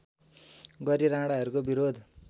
गरी राणाहरूको विरोध